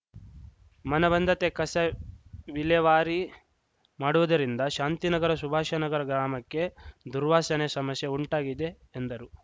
ಮನಬಂದಂತೆ ಕಸ ವಿಲೇವಾರಿ ಮಾಡುವುದಿರಂದ ಶಾಂತಿನಗರ ಶುಭಾಷನಗರ ಗ್ರಾಮಕ್ಕೆ ದುರ್ವಾಶನೆ ಸಮಶ್ಯೆ ಉಂಟಾಗಿದೆ ಎಂದರು